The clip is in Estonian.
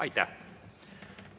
Aitäh!